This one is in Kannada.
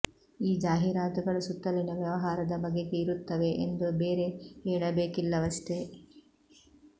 ಈ ಜಾಹೀರಾತುಗಳು ಸುತ್ತಲಿನ ವ್ಯವಹಾರದ ಬಗೆಗೆ ಇರುತ್ತವೆ ಎಂದು ಬೇರೆ ಹೇಳಬೇಕಿಲ್ಲವಷ್ಟೇ